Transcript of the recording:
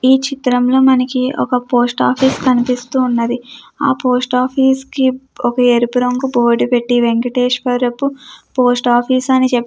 ఈ చిత్రంలో మనకి ఒక పోస్ట్ ఆఫీస్ కనిపిస్తూ ఉన్నది. ఆ పోస్ట్ ఆఫీస్ కి ఒక ఎరుపు రంగు బోర్డు పెట్టి వెంకటేశ్వరపు పోస్ట్ ఆఫీస్ అని చెప్పి --